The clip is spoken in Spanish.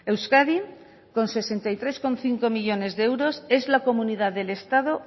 euskadi con sesenta y tres coma cinco millónes de euros es la comunidad del estado